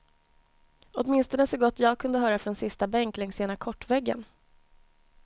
Åtminstone så gott jag kunde höra från sista bänk längs ena kortväggen.